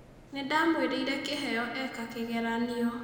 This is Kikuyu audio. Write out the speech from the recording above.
Nĩndamwĩrĩire kĩheo eeka kĩgeranio.